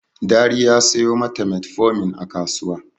Dari ya sayo ma ta metformin a kasuwa.